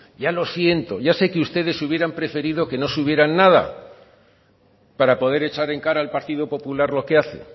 ya lo siento ya sé que ustedes hubieran preferido que no subieran nada para poder echar en cara al partido popular lo que hace